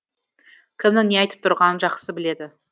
кімнің не айтып тұрғанын жақсы біледі